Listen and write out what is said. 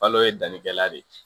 Balo ye dannikɛla de ye